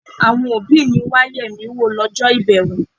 Àwọn òbí mi wá yẹ̀ mí wò lọ́jọ́ ìbẹ̀wò.